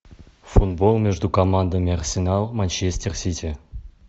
футбол между командами арсенал манчестер сити